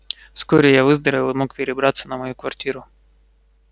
вскоре я выздоровел и мог перебраться на мою квартиру